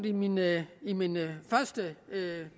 i mine i mine første